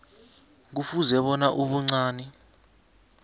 kufuze bona ubuncani